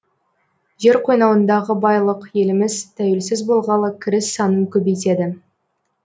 жер қойнауындағы байлық еліміз тәуелсіз болғалы кіріс санын көбейтеді